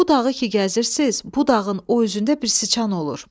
Bu dağı ki gəzirsiniz, bu dağın o üzündə bir sıçan olur.